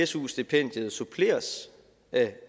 su stipendiet suppleres af